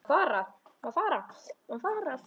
Og hafði rétt fyrir sér.